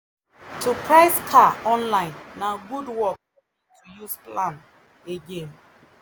to price car online na good work use plan again